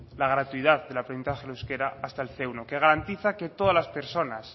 la gratuidad del aprendizaje del euskera hasta el ce uno que garantiza que todas las personas